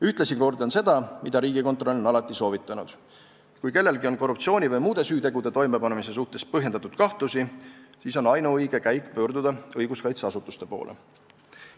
Ühtlasi kordan seda, mida Riigikontroll on alati soovitanud: kui kellelgi on korruptsiooni või muude süütegude toimepanemise suhtes põhjendatud kahtlusi, siis on ainuõige käik pöörduda õiguskaitseasutuste poole.